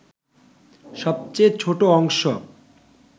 সবচেয়ে ছোট অংশ